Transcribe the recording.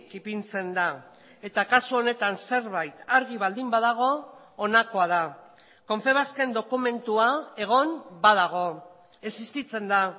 ipintzen da eta kasu honetan zerbait argi baldin badago honakoa da confebasken dokumentua egon badago existitzen da